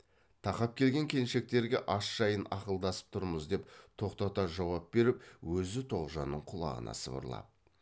тақап келген келіншектерге ас жайын ақылдасып тұрмыз деп тоқтата жауап беріп өзі тоғжанның құлағына сыбырлап